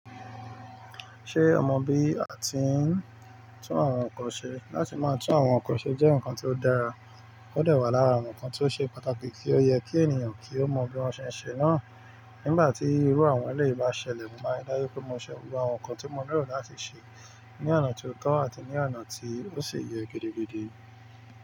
Ṣé o mọ bí a ti ń tún àwọn nǹkan ṣe? Láti máa tún àwọn nǹkan ṣe jẹ́ nǹkan tó dára. Ó dẹ̀ wà lára nǹkan tó ṣe pàtàkì kí ó yẹ kí ènìyàn kí ó mọ bí wọ́n ṣe ń ṣe náà. Nígbà tí irú àwọn eléyìí bá ṣẹlẹ̀, mo máa ri dájú pé mo ṣe gbogbo àwọn nǹkan tí mo nílò láti ṣe ní ọ̀nà tó tọ́ àti ní ọ̀nà tí ó sì yẹ gidigidi.